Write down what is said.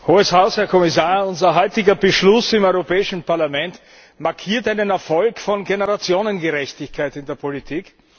Frau Präsidentin, Hohes Haus, Herr Kommissar! Unser heutiger Beschluss im Europäischen Parlament markiert einen Erfolg von Generationengerechtigkeit in der Politik.